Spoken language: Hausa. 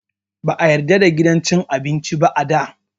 Ba a yarda da gidan cin abinci ba da.